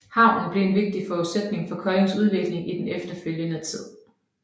Havnen blev en vigtig forudsætning for Koldings udvikling i den efterfølgende tid